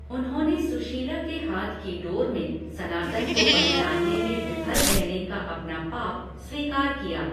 उन्होंने सुशीला के हाथ की डोर में सनातन को पहचानने में विफल रहने का अपना पाप स्वीकार किया।